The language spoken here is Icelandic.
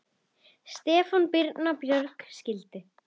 Stefán og Birna Björg skildu.